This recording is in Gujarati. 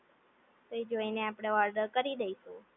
તે જોઈને આપણે ઓર્ડર કરી દઈશું